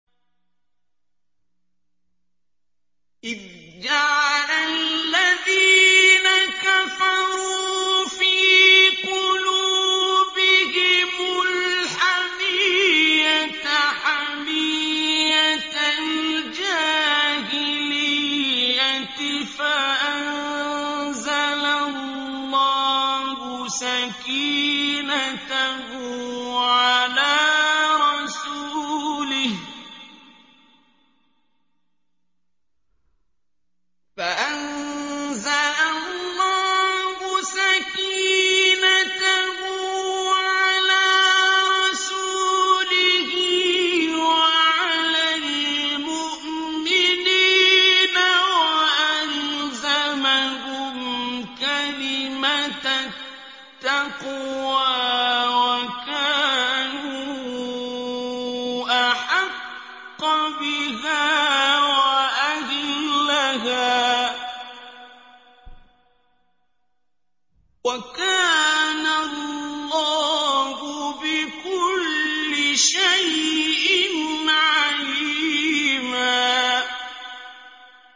إِذْ جَعَلَ الَّذِينَ كَفَرُوا فِي قُلُوبِهِمُ الْحَمِيَّةَ حَمِيَّةَ الْجَاهِلِيَّةِ فَأَنزَلَ اللَّهُ سَكِينَتَهُ عَلَىٰ رَسُولِهِ وَعَلَى الْمُؤْمِنِينَ وَأَلْزَمَهُمْ كَلِمَةَ التَّقْوَىٰ وَكَانُوا أَحَقَّ بِهَا وَأَهْلَهَا ۚ وَكَانَ اللَّهُ بِكُلِّ شَيْءٍ عَلِيمًا